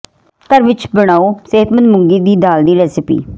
ਘਰ ਵਿੱਚ ਬਣਾਓ ਸਿਹਤਮੰਦ ਮੂੰਗੀ ਦੀ ਦਾਲ ਦੀ ਰੇਸਿਪੀ